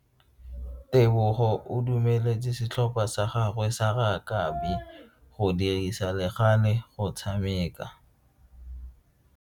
Tebogo o dumeletse setlhopha sa gagwe sa rakabi go dirisa le gale go tshameka.